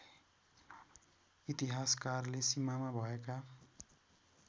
इतिहासकारले सीमामा भएका